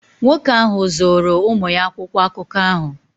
Nwoke ahụ zụụru ụmụ ya akwụkwọ akụkọ ahụ.